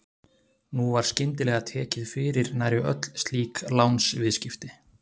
Nú var skyndilega tekið fyrir nærri öll slík lánsviðskipti.